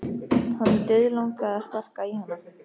Hann dauðlangaði að sparka í hana.